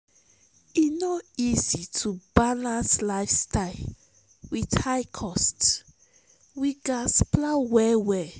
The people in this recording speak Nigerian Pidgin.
e no easy to balance lifestyle with high cost; we gats plan well.